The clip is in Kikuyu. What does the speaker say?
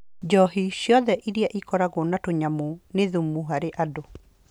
Njohi ciothe iria ikoragwo na tũnyamũ nĩ thumu harĩ andũ